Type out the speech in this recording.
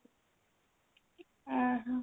ଓଃ ହୋ